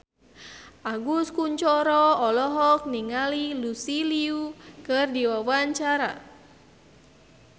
Agus Kuncoro olohok ningali Lucy Liu keur diwawancara